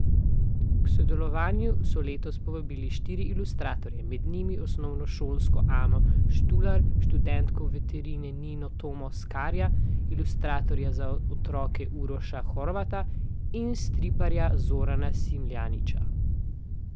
K sodelovanju so letos povabili štiri ilustratorje, med njimi osnovnošolko Ano Štular, študentko veterine Nino Tome Skarja, ilustratorja za otroke Uroša Horvata in striparja Zorana Smiljanića.